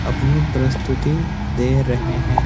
अपनी प्रस्‍तुती दे रहे हैं।